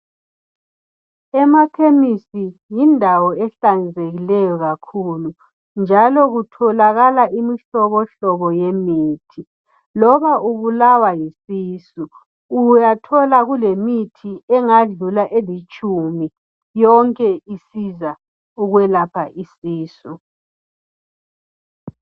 Emakhemesi yindawo ehlanzekileyo kakhulu njalo kutholakala imihlobohlobo yemithi lobaulawa yisisu uyathola kulemithi eyedlula elitshumi yonke isiza ukwelapha isisu.